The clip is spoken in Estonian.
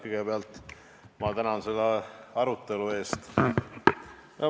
Kõigepealt tänan selle arutelu eest.